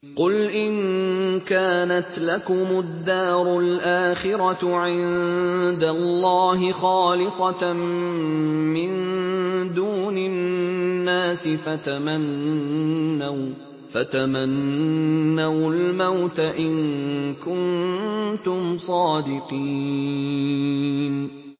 قُلْ إِن كَانَتْ لَكُمُ الدَّارُ الْآخِرَةُ عِندَ اللَّهِ خَالِصَةً مِّن دُونِ النَّاسِ فَتَمَنَّوُا الْمَوْتَ إِن كُنتُمْ صَادِقِينَ